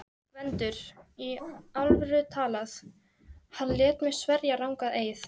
GVENDUR: Í alvöru talað: hann lét mig sverja rangan eið.